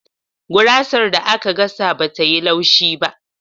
Gurasar da aka gasa bata yi laushi.